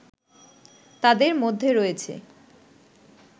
তাদের মধ্যে রয়েছে